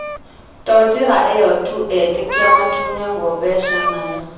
to njĩra ĩyo tu etĩkĩa matunyagwo mbeca nayo